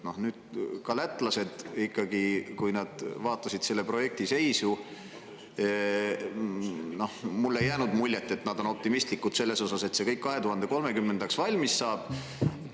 Ka siis, kui lätlased vaatasid selle projekti seisu, ei jäänud mulle muljet, et nad on optimistlikud selles, et see kõik 2030. aastaks valmis saab.